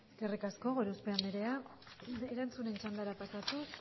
eskerrik asko gorospe andrea erantzunen txandara pasatuz